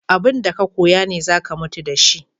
Abun da ka koya ne za ka mutu da shi.